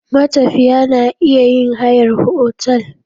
Matafiya na iya yin hayar otal.